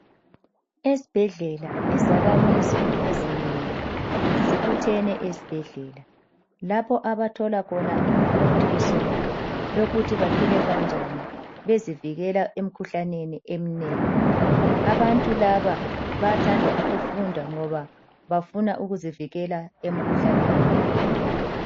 Ezibhedlela izakhimizi ezinengi zibutheni ezibhedlela lapho abathola khona imfundiso yokuthi baphile kanjani bezivikela emikhuhlaneni eminengi. Abantu laba bayathanda ukufunda ngoba bafuna ukuzivikela emikhuhlaneni.